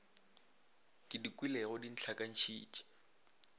ke di kwelego di ntlhakantšhitše